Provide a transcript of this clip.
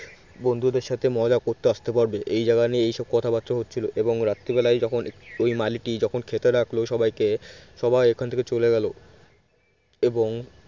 বন্ধুদের সাথে মজা করতে আসতে পারবে এই জায়গা নিয়ে এইসব কথাবার্তা হচ্ছিল এবং রাত্রিবেলা যখন ওই মালিটি যখন খেতে ডাকলো সবাইকে সবাই ওখান থেকে চলে গেল এবং